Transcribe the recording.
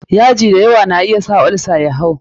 yaji da yawa na iya sa olsa ya hau.